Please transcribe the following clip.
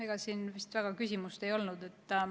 Ega siin vist küsimust ei olnudki.